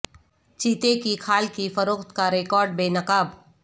چیتے کی کھال کی فروخت کا ریاکٹ بے نقاب